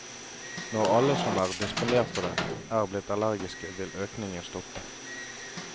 Når alle som er disponert for det, er blitt allergiske, vil økningen stoppe.